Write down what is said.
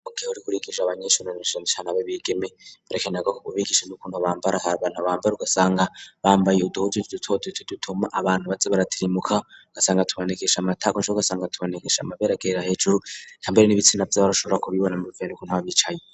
Mu gihe uriko urigisha abanyeshure na canecane ab'abigeme birakerwa ko ubigisha n'ukuntu bambara, hari abantu bambara ugasanga bambaye uduhuzu duto duto dutuma abantu baza baratirimuka, ugasanga tubonekesha amatako canke ugasanga tubonekesha amabere agera hejuru, eka mbere n'ibitsina vyabo ugashobora kubibona bivanye n'ukuntu baba bicaye.